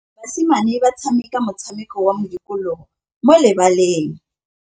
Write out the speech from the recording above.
Basimane ba tshameka motshameko wa modikologô mo lebaleng.